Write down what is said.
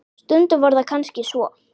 Stundum var það kannski svo.